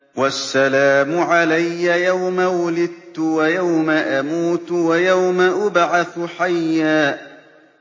وَالسَّلَامُ عَلَيَّ يَوْمَ وُلِدتُّ وَيَوْمَ أَمُوتُ وَيَوْمَ أُبْعَثُ حَيًّا